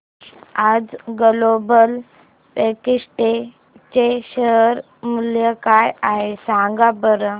आज Global Vectra चे share मूल्य काय आहे सांगा बरं